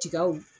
Tigaw